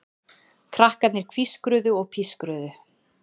Krakkarnir hvískruðu og pískruðu.